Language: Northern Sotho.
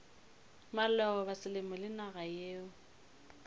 maloba selemo le naga yeo